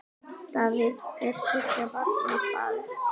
Davíð er þriggja barna faðir.